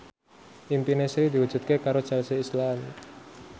impine Sri diwujudke karo Chelsea Islan